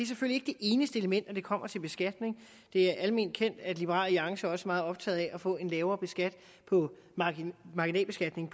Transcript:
eneste element når det kommer til beskatning det er alment kendt at liberal alliance også er meget optaget af at få en lavere marginalbeskatning